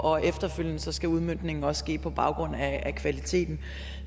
og efterfølgende skal udmøntningen også ske på baggrund af kvaliteten